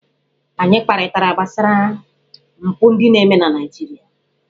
Anyị kparịtara gbasara mpụ ndị na-eme na Naịjirịa.